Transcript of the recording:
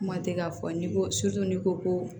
Kuma tɛ k'a fɔ n'i ko n'i ko ko